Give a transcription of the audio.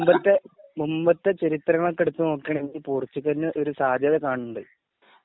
മുമ്പത്തെ ചരിത്രങ്ങള്‍ എടുത്തു നോക്കുകയാണെങ്കിൽ പോർച്ചുഗല്ലിനു ഒരു സാധ്യത കാണുന്നുണ്ട്.